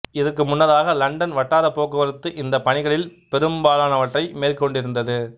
இதற்கு முன்னதாக இலண்டன் வட்டார போக்குவரத்து இந்தப் பணிகளில் பெரும்பாலானவற்றை மேற்கொண்டிருந்தது